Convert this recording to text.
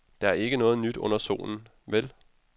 Der er ikke noget nyt under solen, vel.